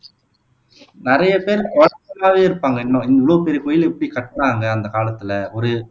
நிறைய பேர் குழப்பமாவே இருப்பாங்க இன்னும் இவ்வளோ பெரிய கோயில எப்படி கட்டினாங்க அந்த காலத்தில ஒரு